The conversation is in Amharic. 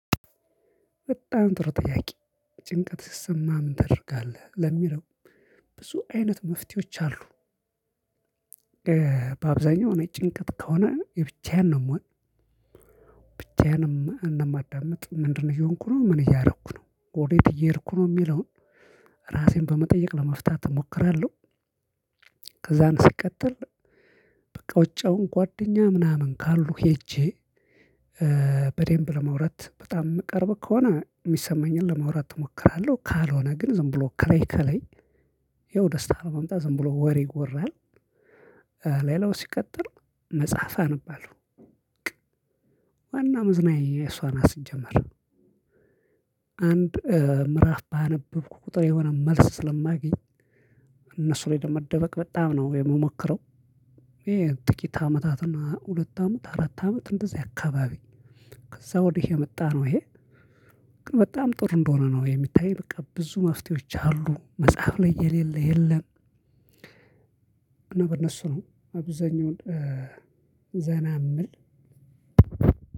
በጣም ጥሩ ጥያቄ። ጭንቀት ሲሰማ ምን ታደርጋለህ ለሚለው? ብዙ አይነት መፍትሄዎች አሉ። በአብዛኛው እኔ ጭንቀት ከሆነ የብቻዬን ነው የምሆነው ብቻዬንም እንደማዳምጥ ምንድነው እየሆንኩ ነው ምን እያደረኩ ነው ወዴት እየሄድኩ ነው የሚለውን። ራሴን በመጠየቅ ለመፍታት እሞክራለሁ። ከዛን ሲቀጥል በቃ ውጪውን ጓደኛ ምናምን ካሉ ሄጄ። በደንብ ለማውራት በጣም ቅርብ ከሆነ የሚሰማኝን ለመውራት እሞክራለሁ። ካልሆነ ግን ዝም ብሎ ከለይ ከለይ። ያው ደስታ ለማምጣት ዝም ብሎ ወሬ ይወራል። ሌላው ሲቀጥል መጽሐፍ አነባለሁ። ወነው መዘናኛየ እሷ ናት ሲጀመር። አንድ ምዕራፍ ባነበብኩ ቁጥር የሆነ መልስ ስለማገኝ እነሱ ላይ ለመደበቅ በጣም ነው የምሞክረው። ይሄ ጥቂት አመታትና ሁለት አመት አራት አመት እንደዚህ አካባቢ። ከዛ ወዲህ የመጣ ነው ይሄ። በጣም ጥሩ እንደሆነ ነው የሚታይ በቃ ብዙ መፍትሄዎች አሉ መጽሐፍ ላይ የሌለ የለም። እና በእነሱ ነው አብዛኛውን ዘና የምል